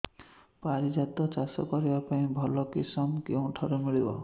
ପାରିଜାତ ଚାଷ କରିବା ପାଇଁ ଭଲ କିଶମ କେଉଁଠାରୁ ମିଳିବ